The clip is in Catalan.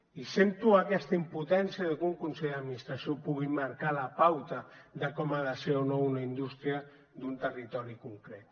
i sento aquesta impotència de que un consell d’administració pugui marcar la pauta de com ha de ser o no una indústria d’un territori concret